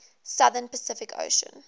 southern pacific ocean